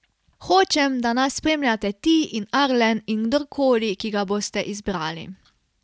Hočem, da nas spremljate ti in Arlen in kdorkoli, ki ga boste izbrali.